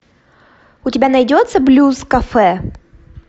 у тебя найдется блюз кафе